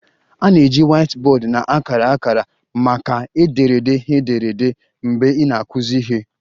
A na-eji whiteboard na akara akara maka ederede ederede mgbe ị na-akụzi ihe